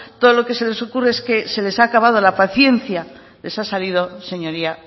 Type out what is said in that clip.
todo lo que se les ocurre es que se les ha acabado la paciencia les ha salido señoría